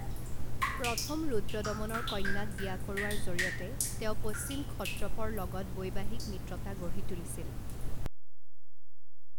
প্ৰথম ৰুদ্ৰদমনৰ কন্যাক বিয়া কৰোৱাৰ জৰিয়তে তেওঁ পশ্চিম ক্ষত্ৰপৰ লগত বৈবাহিক মিত্ৰতা গঢ়ি তুলিছিল।